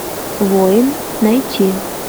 воин найти